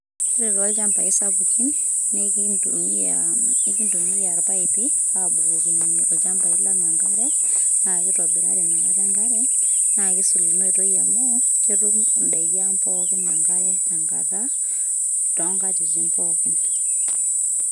ore tolchambai sapukin.na enkitumia ,ikintumia ilpaipi, abukokinyie ilchambai lang enkare, na kitobirari nakata enkare, na kisul ina oitoi amu, ketum indaiki ang enkare tenkata tonkatitin pooki.